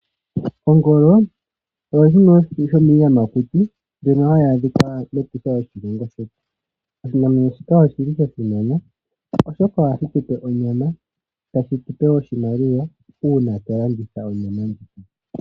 Ongolo oyo yimwe yomiiyamakuti mbyoka hayi adhika mEtosha lyoshilongo shetu. Oshinamwenyo shika oshili sha simana, oshoka ohashi tupe onyama, tashitupe wo oshimaliwa uuna twa landitha onyama ndjoka.